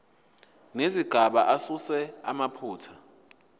nezigaba asuse amaphutha